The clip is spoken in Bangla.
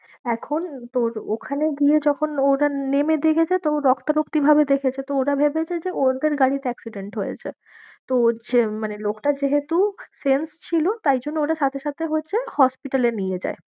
এখন তোর ওখানে গিয়ে যখন ওরা নেমে দেখেছে তো রক্তারক্তিভাবে দেখেছে, তো ওরা ভেবেছে যে ওদের গাড়িতে accident হয়েছে তো হচ্ছে মানে লোকটার যেহেতু sense ছিল, তাই জন্যে ওকে সাথে সাথে হচ্ছে hospital এ নিয়ে যায়।